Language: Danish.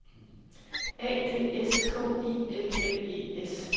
A D S K I L L E S